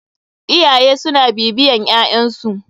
Iyaye suna bibiyan ƴaƴn su.